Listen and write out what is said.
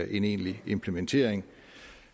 egentlig implementering